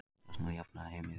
Stjarnan jafnaði einvígið